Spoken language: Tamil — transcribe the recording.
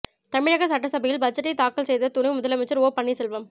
தமிழக சட்டசபையில் பட்ஜெட்டை தாக்கல் செய்த துணை முதலமைச்சர் ஓ பன்னீர் செல்வம்